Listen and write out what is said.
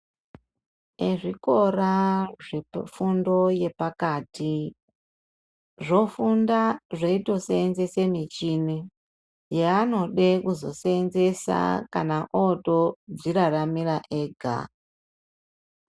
Ezvikora zvefundo yepakati zvofunda zveitoseenzesa michini yaanode kuzoseenzesa kana ootodziraramira ega.